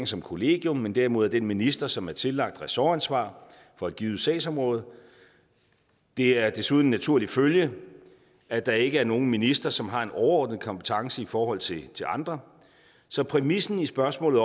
som kollegium men derimod af den minister som er tillagt ressortansvar for et givet sagsområde det er desuden en naturlig følge at der ikke er nogen minister som har en overordnet kompetence i forhold til andre så præmissen i spørgsmålet